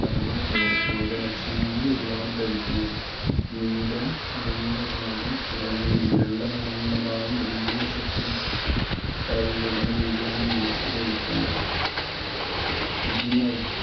അഥവാ ലോ രോഗലക്ഷണങ്ങൾ ഉള്ളവർ ധരിക്കുന്നത്. നീല നിറമുള്ള ഭാഗം പുറമേയും വെള്ള നിറമുള്ള ഭാഗം ഉൾവശത്തും തായി വരുന്ന രീതിയിലാണ് mask ധരിക്കേണ്ടത് ഇതിന്